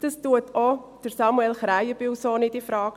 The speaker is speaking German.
Das stellt auch Samuel Krähenbühl so nicht in Frage.